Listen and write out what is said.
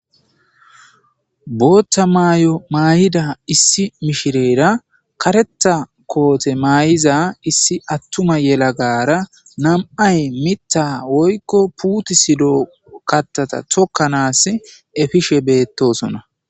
Bota mayo mayida issi mishirera kareta kote mayiza issi atuma yelagara nam'ay Mitha woyko putisido katata tokanasi efishe betosona.